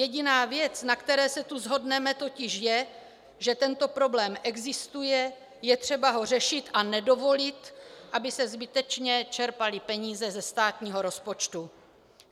Jediná věc, na které se tu shodneme, totiž je, že tento problém existuje, je třeba ho řešit a nedovolit, aby se zbytečně čerpaly peníze ze státního rozpočtu.